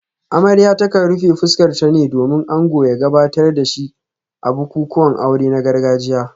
Amarya ta kan rufe fuskarta ne domin ango ya gabatar da shi a bukukuwan aure na gargajiya